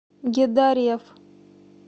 гедареф